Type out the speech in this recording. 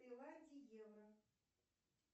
евро